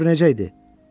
Möhür necə idi?